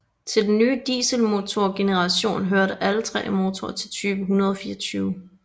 Til den nye dieselmotorgeneration hørte alle tre motorer i type 124